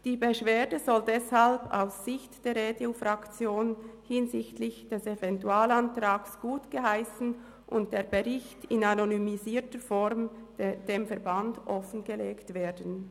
Die Beschwerde soll deshalb aus Sicht der EDU-Fraktion hinsichtlich des Eventualantrags gutgeheissen und der Bericht in anonymisierter Form dem Verband offengelegt werden.